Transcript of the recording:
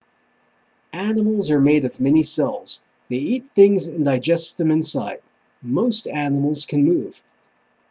animals are made of many cells they eat things and digest them inside most animals can move